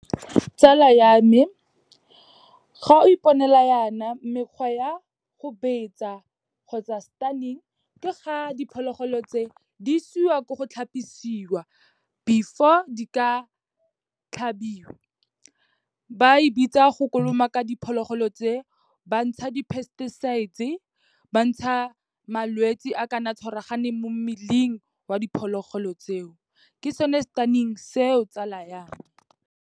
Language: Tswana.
Tsala ya me, ga o iponela yana mekgwa ya go betsa kgotsa stunning, ke ga diphologolo tse, di isiwa ko go tlhapisiwa before di ka tlhabiwa, ba e bitsa go kolomaka diphologolo tse, bantsha di-pesticides-e, bantsha malwetse a kana tshwaraganeng mo mmeleng wa diphologolo tseo, ke sone stunning seo tsala yaka.